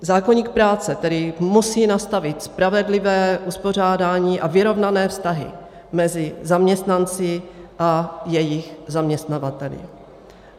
Zákoník práce tedy musí nastavit spravedlivé uspořádání a vyrovnané vztahy mezi zaměstnanci a jejich zaměstnavateli.